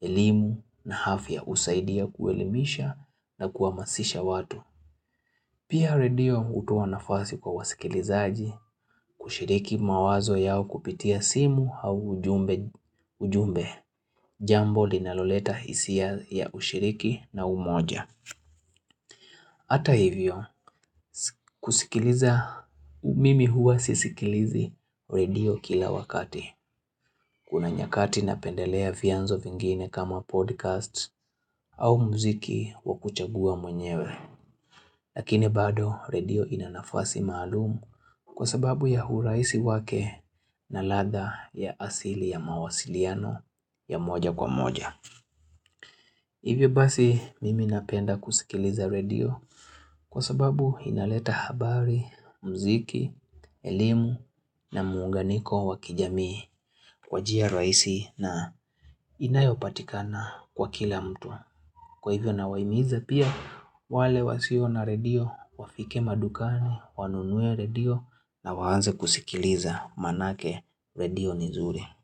elimu na afya husaidia kuelimisha na kuhamasisha watu. Pia redio hutoa nafasi kwa wasikilizaji kushiriki mawazo yao kupitia simu au ujumbe jambo linaloleta hisia ya ushiriki na umoja. Hata hivyo kuskiliza mimi huwa sisikilizi redio kila wakati. Kuna nyakati napendelea vyanzo vingine kama podcast au mziki wakuchagua mwenyewe. Lakini bado redio inanafasi maalum kwa sababu ya urahisi wake na ladha ya asili ya mawasiliano ya moja kwa moja. Hivyo basi mimi napenda kuskiliza redio kwa sababu inaleta habari, mziki, elimu na muunganiko wakijamii kwa njia rahisi na inayopatikana kwa kila mtu. Kwa hivyo nawahimiza pia wale wasio na redio wafike madukani wanunue redio na waanze kusikiliza manake redio ni nzuri.